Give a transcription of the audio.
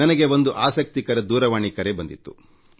ನನಗೆ ಒಂದು ಆಸಕ್ತಿದಾಯಕವಾದ ದೂರವಾಣಿ ಕರೆ ಬಂದಿತ್ತು